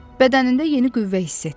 Bədənində yeni qüvvə hiss etdi.